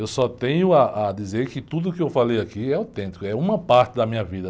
Eu só tenho ah, a dizer que tudo o que eu falei aqui é autêntico, é uma parte da minha vida.